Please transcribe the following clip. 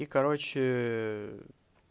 и короче